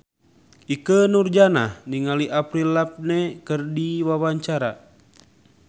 Ikke Nurjanah olohok ningali Avril Lavigne keur diwawancara